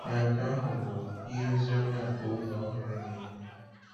Na nke ahụ bụ ihe ozi ọma nke oge ọhụrụ na-enye.